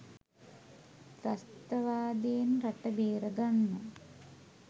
ත්‍රස්තවාදයෙන් රට බේරගන්න